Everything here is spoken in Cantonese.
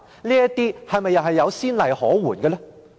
這些又是否有先例可援？